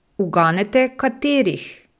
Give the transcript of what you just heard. Uganete, katerih?